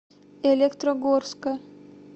электрогорска